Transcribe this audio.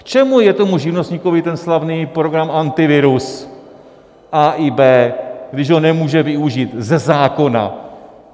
K čemu je tomu živnostníkovi ten slavný program Antivirus A i B, když ho nemůže využít - ze zákona?